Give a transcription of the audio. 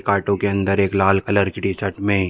कांटों के अंदर एक लाल कलर की टी शर्ट में --